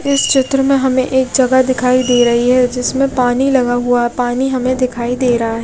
इस चित्र में हमे एक जगह दिखाई दे रही है जिसमे पानी लगा हुआ पानी हमे दिखाई दे रहा है।